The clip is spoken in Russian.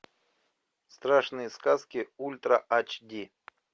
страшные сказки ультра ач ди